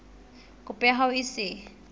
kopo ya hao e se